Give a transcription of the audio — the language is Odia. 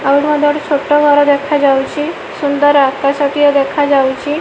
ଆଉ ଭଲ ଛୋଟ ଘର ଦେଖାଯାଉଛି ସୁନ୍ଦର ଆକାଶଟିଏ ଦେଖାଯାଉଛି।